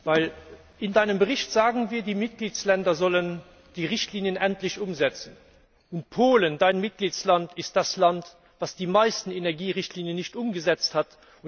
Denn in deinem Bericht sagen wir, die Mitgliedstaaten sollen endlich die Richtlinien umsetzen. Und Polen dein Mitgliedsland ist das Land, das die meisten Energierichtlinien nicht umgesetzt hat.